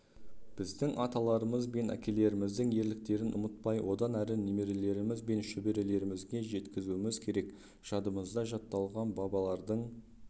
біздің аталарымыз бен әкелеріміздің ерліктерін ұмытпай одан әрі немерелеріміз бен шөберелерімізге жеткізуіміз керек жадымызда жатталған бабалардың